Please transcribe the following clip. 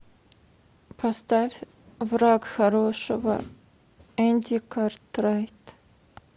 поставь враг хорошего энди картрайт